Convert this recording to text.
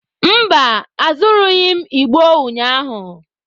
Mba, azụrụghị m igbo ụnyahụ.